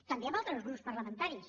també amb altres grups parlamentaris